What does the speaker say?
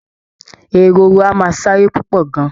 Ehoro a máa sáré púpọ̀ gan